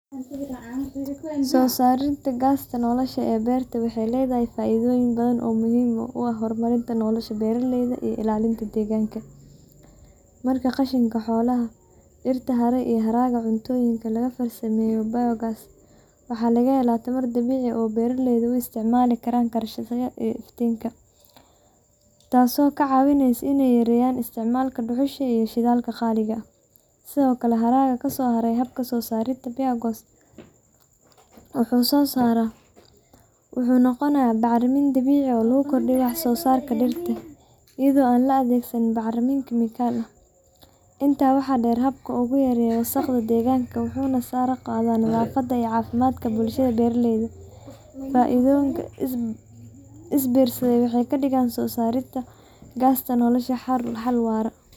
Soosaarista gasta nolosha ee beertaha waxay leedahay faa’iidooyin badan oo muhiim u ah horumarinta nolosha beeraleyda iyo ilaalinta deegaanka. Marka qashinka xoolaha, dhirta haray, iyo haraaga cuntooyinka laga farsameeyo biogas, waxaa laga helaa tamar dabiici ah oo beeraleydu u isticmaali karaan karsashada iyo iftiinka, taasoo ka caawinaysa inay yareeyaan isticmaalka dhuxusha iyo shidaalka qaali ah. Sidoo kale, haraaga kasoo haray habka soosaarista biogas-ka (slurry) wuxuu noqonayaa bacrimin dabiici ah oo lagu kordhiyo wax-soosaarka dhirta, iyadoo aan la adeegsan bacriminta kiimikada ah. Intaa waxaa dheer, habkan wuxuu yareeyaa wasaqda deegaanka, wuxuuna sare u qaadaa nadaafadda iyo caafimaadka bulshada beeraleyda. Faa’iidooyinkan is biirsaday waxay ka dhigayaan soosaarista gasta nolosha xal waara oo waxtar leh.